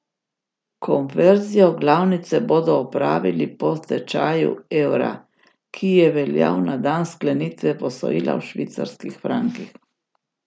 Konverzijo glavnice bodo opravili po tečaju evra, ki je veljal na dan sklenitve posojila v švicarskih frankih.